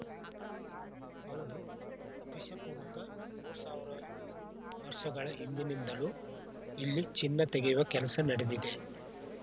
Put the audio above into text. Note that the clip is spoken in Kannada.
ಹೌದು ಕ್ರಿಶ ಪೂರಕ ಮೂರು ಸಾವಿರ ವರ್ಷಗಳ ಹಿಂದಿನಿಂದಲೂ ಇಲ್ಲಿ ಚಿನ್ನ ತೆಗೆಯುವ ಕೆಲಸ ನಡೆದಿದೆ